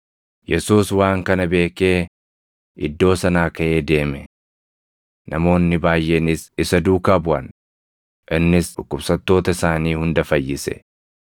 Yesuus waan kana beekee iddoo sanaa kaʼee deeme. Namoonni baayʼeenis isa duukaa buʼan; innis dhukkubsattoota isaanii hunda fayyise;